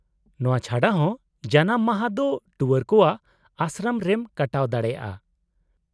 -ᱚᱱᱶᱟ ᱪᱷᱟᱰᱟ ᱦᱚᱸ , ᱡᱟᱱᱟᱢ ᱢᱟᱦᱟ ᱫᱚ ᱴᱩᱣᱟᱹᱨ ᱠᱚᱣᱟᱜ ᱟᱥᱨᱚᱢ ᱨᱮᱢ ᱠᱟᱴᱟᱣ ᱫᱟᱲᱮᱭᱟᱜᱼᱟ ᱾